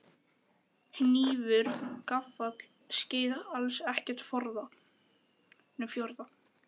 Hnífur gaffall skeið alls ekkert fjórða?